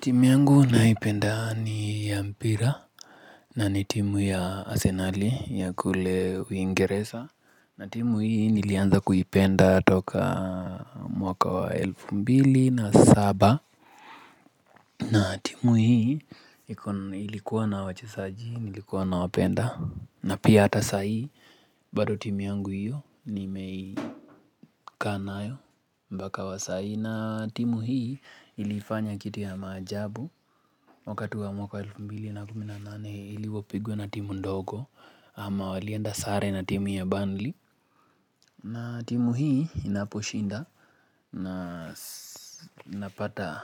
Timu yangu naipenda ni ya mpira na ni timu ya Asenali ya kule Uingereza na timu hii nilianza kuipenda toka mwaka wa elfu mbili na saba na timu hii ilikuwa na wachezaji ilikuwa nawapenda na pia hata sai bado timu yangu hiyo nimeikaa nayo mbaka wa sai na timu hii ilifanya kitu ya maajabu wakati wa mwaka 2018 ili wapigwe na timu ndogo ama walienda sare na timu ya Burnley na timu hii inaposhinda na napata